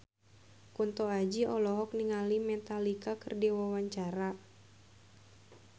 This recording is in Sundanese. Kunto Aji olohok ningali Metallica keur diwawancara